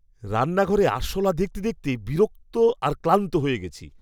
রান্নাঘরে আরশোলা দেখতে দেখতে বিরক্ত আর ক্লান্ত হয়ে গেছি।